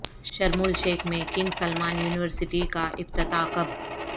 شرم الشیخ میں King Salman University کا افتتاح کب